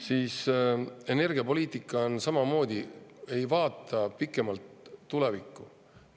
Selle energiapoliitikaga on samamoodi, ei vaadata pikemalt tulevikku.